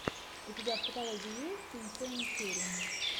у тебя в каталоге есть инсейн черри